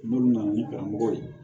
N'olu nana ni karamɔgɔ ye